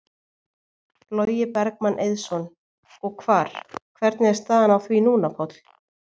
Logi Bergmann Eiðsson: Og hvar, hvernig er staðan á því núna, Páll?